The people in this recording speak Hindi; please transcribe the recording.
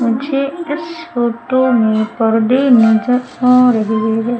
मुझे इस फोटो में पर्दे नजर आ रहे है।